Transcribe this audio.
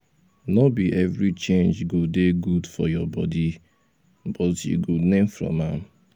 no be every change go dey good for your body but you go learn from am